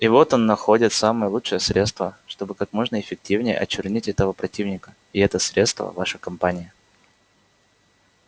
и вот он находит самое лучшее средство чтобы как можно эффективнее очернить этого противника и это средство ваша кампания